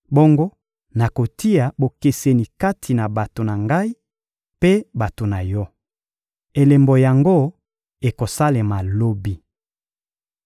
Bongo nakotia bokeseni kati na bato na Ngai mpe bato na yo. Elembo yango ekosalema lobi.»